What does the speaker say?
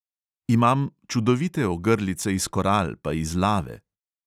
Imam čudovite ogrlice iz koral pa iz lave.